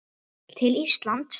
til Íslands?